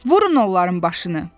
Vurun onların başını!